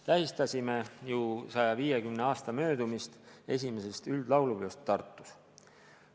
Tähistasime ju 150 aasta möödumist esimesest üldlaulupeost Tartus.